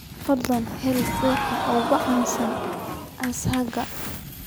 fadlan hel dukaanka ugu caansan aagga